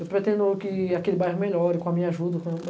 Eu pretendo que aquele bairro melhore com a minha ajuda, com